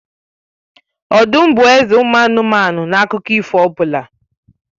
Ọdụm m bụ eze ụmụ anụmanụ na akụkọ ifo ọbụla.